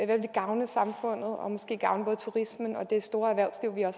det ville gavne samfundet og måske gavne både turismen og også det store erhvervsliv vi har